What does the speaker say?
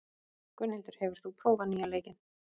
Gunnhildur, hefur þú prófað nýja leikinn?